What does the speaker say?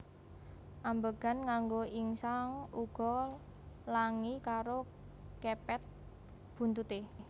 Ambegan nganggo ingsan uga langi karo kepet buntuté